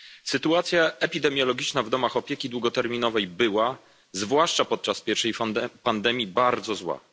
Sytuacja epidemiologiczna w domach opieki długoterminowej była, zwłaszcza podczas pierwszej fali pandemii, bardzo zła.